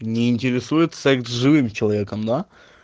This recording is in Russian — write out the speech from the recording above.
не интересует секс с живым человеком да